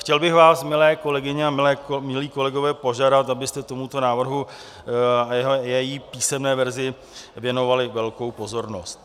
Chtěl bych vás, milé kolegyně a milí kolegové, požádat, abyste tomuto návrhu a jeho písemné verzi věnovali velkou pozornost.